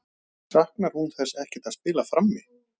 Saknar hún þess ekkert að spila frammi?